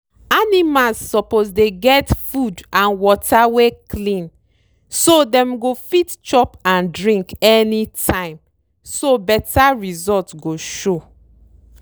animals suppose dey get food and water wey clean so dem go fit chop and drink anytimeso better result go show.